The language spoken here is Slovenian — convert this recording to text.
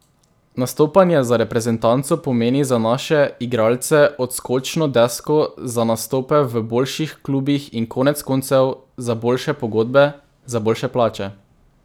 Nastopanje za reprezentanco pomeni za naše igralce odskočno desko za nastope v boljših klubih in konec koncev za boljše pogodbe, za boljše plače.